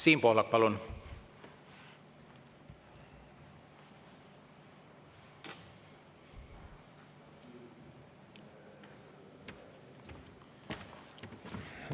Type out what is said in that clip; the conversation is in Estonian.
Siim Pohlak, palun!